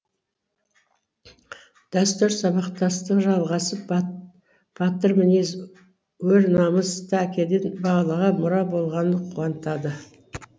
дәстүр сабақтастығы жалғасып батыр мінез өр намыс та әкеден балаға мұра болғаны қуантады